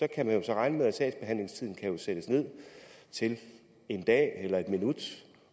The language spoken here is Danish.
kan vi jo så regne med at sagsbehandlingstiden kan sættes ned til en dag eller en minut